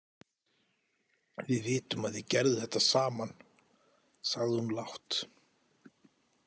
Við vitum að þið gerðuð þetta saman, sagði hún lágt.